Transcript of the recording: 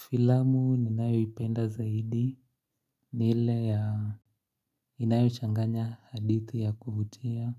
Filamu ninayo ipenda zaidi ni ile ya inayo changanya hadithi ya kuvutia